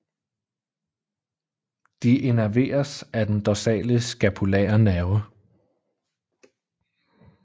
De innerveres af den dorsale scapulære nerve